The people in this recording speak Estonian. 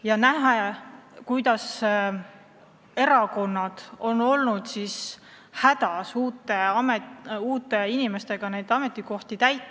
Me näeme, et erakonnad on olnud hädas uute inimeste leidmisega nendele ametikohtadele.